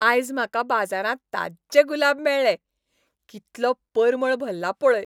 आयज म्हाका बाजारांत ताज्जे गुलाब मेळ्ळे. कितलो परमळ भल्ला पळय.